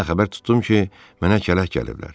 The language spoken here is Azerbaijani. Hə, xəbər tutdum ki, mənə kələk gəliblər.